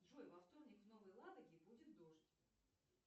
джой во вторник в новой ладоге будет дождь